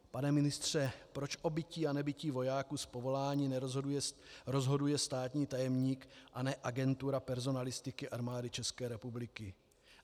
Pane ministře, proč o bytí a nebytí vojáků z povolání rozhoduje státní tajemník a ne Agentura personalistiky Armády České republiky?